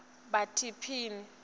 bhaptini